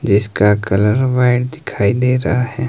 जिसका colour white दिखाई दे रहा है।